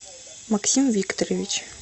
максим викторович